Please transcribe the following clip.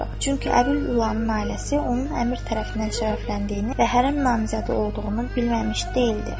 Çünki Əbil Ulının ailəsi onun əmir tərəfindən şərəfləndiyini və hərəm namizədi olduğunu bilməmiş deyildi.